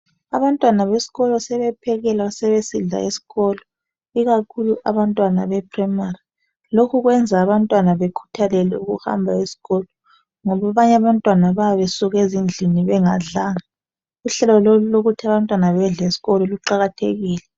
Abantwana besikolo sebephekelwa, sebesidla esikolo ikakhulu abantwana bephuremari. Lokho kwenza abantwana bekhuthalele ukuhamba esikolo ngoba abanye abantwana bayabe besuke endlini bengadlanga. Uhlelo lolu olokuthi abantwana bedle esikolo luqakathekile.